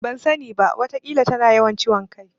Ban sani ba. Wataƙila tana yawan ciwon kai.